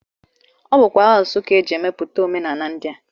Ọ bụkwa asụsụ ka e ji emepụta omenala ndị